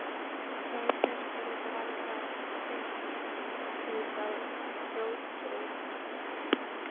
Og auk þess yrði því varla beitt út af rotþró.